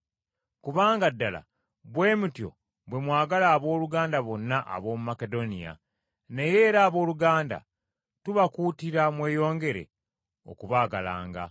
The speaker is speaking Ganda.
Kubanga ddala bwe mutyo bwe mwagala abooluganda bonna ab’omu Makedoniya, naye era abooluganda, tubakuutira mweyongere okubaagalanga.